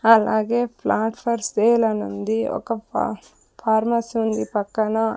అలాగే plot for sale అనుంది ఒక ప ఫార్మసీ ఉంది పక్కన.